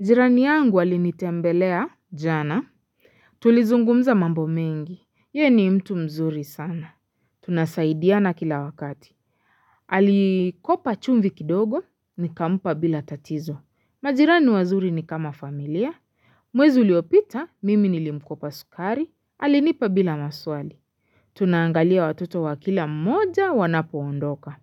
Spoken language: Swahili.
Jirani yangu alinitembelea, jana. Tulizungumza mambo mengi. Yeye ni mtu mzuri sana. Tunasaidiana kila wakati. Alikopa chumvi kidogo, nikampa bila tatizo. Majirani wazuri ni kama familia. Mwezi uliopita, mimi nilimkopa sukari. Alinipa bila maswali. Tunaangalia watoto wa kila mmoja wanapoondoka.